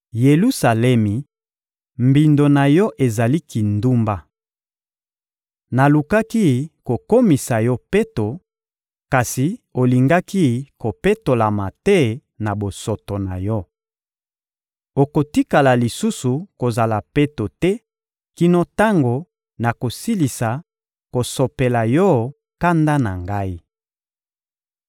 Yelusalemi, mbindo na yo ezali kindumba. Nalukaki kokomisa yo peto, kasi olingaki kopetolama te na bosoto na yo. Okotikala lisusu kozala peto te kino tango nakosilisa kosopela yo kanda na Ngai.